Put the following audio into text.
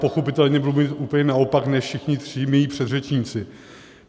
Pochopitelně budu mluvit úplně naopak než všichni tři mí předřečníci.